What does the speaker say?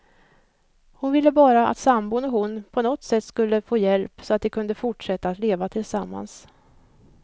Hon ville bara att sambon och hon på något sätt skulle få hjälp, så att de kunde fortsätta att leva tillsammans.